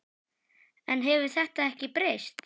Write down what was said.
En hefur þetta ekki breyst?